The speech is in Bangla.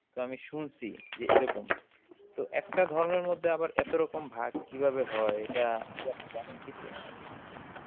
তো আমি শুনসি যে এরকম, তো একটা ধর্মের মধ্যে আবার এত রকম ভাগ কিভাবে হয় এটা আপনি জানেন কিছু?